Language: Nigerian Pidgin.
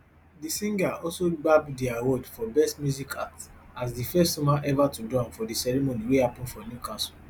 di singer also gbab di award for best music act as di first woman ever to do am for di ceremony wey happen for newcastle